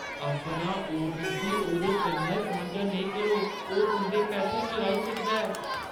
अपना ओ.टी.पी. ओह्दे कन्नै सांझा नेईं करो। ओह् तुंʼदे पैसे चुराई सकदा ऐ।